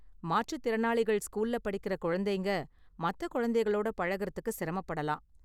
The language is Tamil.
மாற்றுத் திறனாளிகள் ஸ்கூல்ல படிக்கிற குழந்தைங்க மத்த குழந்தைகளோட பழகுறதுக்கு சிரமப்படலாம்.